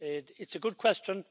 It's a good question.